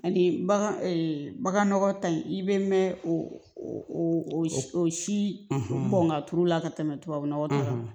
Ani bagan bagan nɔgɔ tan in i bɛ mɛn o si kɔn ka turu la ka tɛmɛ tubabu nɔgɔ kan